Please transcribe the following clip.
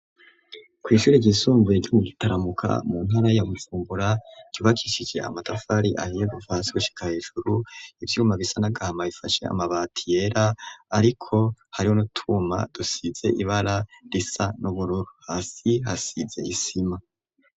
Kw' ishuri ryisumbuye ryo mu gitaramuka mu ntara ya Bujumbura ryubakishije amatafari ;amwe kuva hasi gushika hejuru ivyuma bisa n'agahama ifashe amabati yera ariko hariho n'utwuma dusize ibara risa n'ubururu hasi hasize isima.